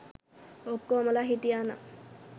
ඔක්කොමලා හිටියා නම්